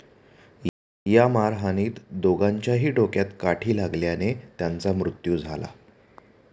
या मारहाणीत दोघांच्याही डोक्यात काठी लागल्याने त्यांचा मृत्यू झाला.